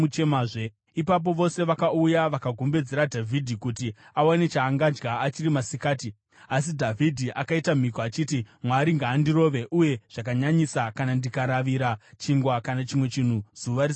Ipapo vose vakauya vakagombedzera Dhavhidhi kuti awane chaangadya achiri masikati; asi Dhavhidhi akaita mhiko, achiti, “Mwari ngaandirove, uye zvakanyanyisa, kana ndikaravira chingwa kana chimwe chinhu zuva risati ravira!”